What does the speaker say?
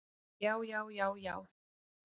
Já, já, já, já!